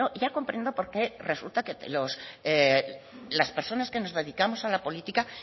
ya comprendo por qué resulta que las personas que nos dedicamos a la política